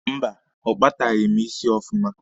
Mba, ọ kpataghị m isi ọfụma.